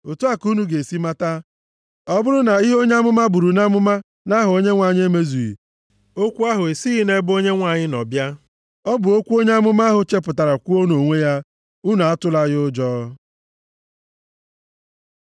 Otu a ka unu ga-esi mata, ọ bụrụ na ihe onye amụma buru nʼamụma nʼaha Onyenwe anyị emezughị, okwu ahụ esighị nʼebe Onyenwe anyị nọ bịa. Ọ bụ okwu onye amụma ahụ chepụtara kwuo nʼonwe ya. Unu atụla ya ụjọ.